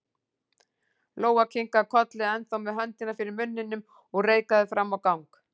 Lóa kinkaði kolli, ennþá með höndina fyrir munninum, og reikaði fram á gang.